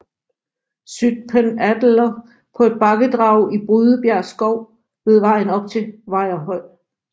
Zytphen Adeler på et bakkedrag i Brydebjerg Skov ved vejen op til Vejrhøj